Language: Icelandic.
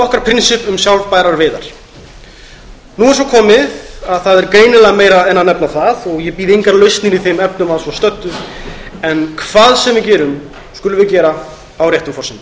okkar prinsipp um sjálfbærar veiðar nú er svo komið að það er greinilega meira en að nefna það og ég býð engar lausnir í þeim efnum að svo stöddu hvað sem við gerum skulum við gera það á réttum forsendum